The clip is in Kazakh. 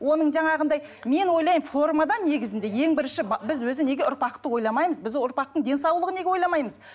оның жаңағындай мен ойлаймын формада негізінде ең бірінші біз өзі неге ұрпақты ойламаймыз біз ұрпақтың денсаулығын неге ойламаймыз